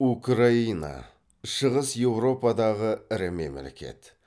украина шығыс еуропадағы ірі мемлекет